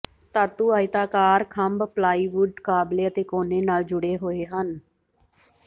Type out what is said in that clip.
ਧਾਤੂ ਆਇਤਾਕਾਰ ਖੰਭ ਪਲਾਈਵੁੱਡ ਕਾਬਲੇ ਅਤੇ ਕੋਨੇ ਨਾਲ ਜੁੜੇ ਹੋਏ ਹਨ